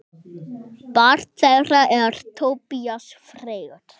Barn þeirra er Tobías Freyr.